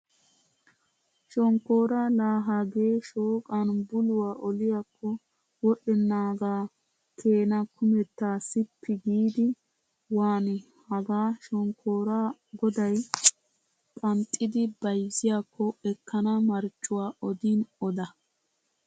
Shonkkoora laa hagee shooqan buluwa oliyakko wodhdhennaagaa keenaa kumettaa sippi giidi waanii! Hagaa shokkooraa goday qanxxidi bayzziyakko ekkana marccuwa odin odo!